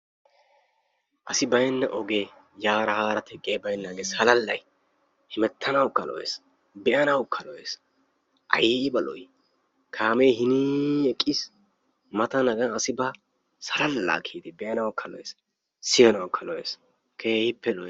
Asi baynna oge yaara haara digiyay baynnaagee hemettanawkka lo''ees, be'anawkka lo''ees. hiin asi eqqiis mata asi ba salala kiyyidi be'nawkka lo''es be'anawkka lo'''ees, keehipppe lo''ees.